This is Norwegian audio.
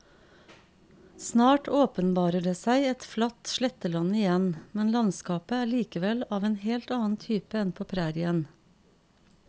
Snart åpenbarer det seg et flatt sletteland igjen, men landskapet er likevel av en helt annen type enn på prærien.